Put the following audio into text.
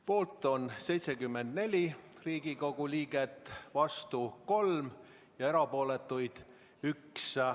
Poolt on 74 Riigikogu liiget, vastu 3 ja erapooletuid 1.